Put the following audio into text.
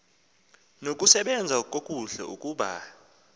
nokusebenza kakuhle ukuba